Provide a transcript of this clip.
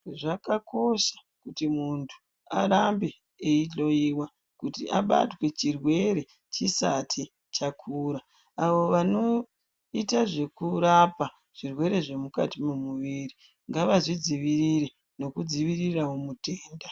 Zvakakosha kuti muntu arambe eihloiwa, kuti abatwe chirwere chisati chakura. Avo vanoita zvekurapa zvirwere zvemukati mwemuviri, ngavazvidziirire nekudziirirawo mutenda.